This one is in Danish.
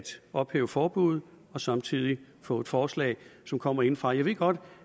ophæve forbuddet og samtidig få et forslag som kommer indefra jeg ved godt